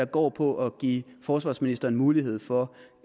går på at give forsvarsministeren mulighed for